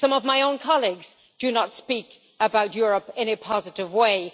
Some of my own colleagues do not speak about Europe in a positive way.